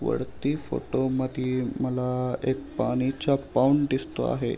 वरती फोटो मदि मला एक पाण्याचा पोंड दिसतो आहे.